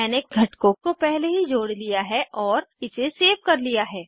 मैंने घटकों को पहले ही जोड़ लिया है और इसे सेव कर लिया है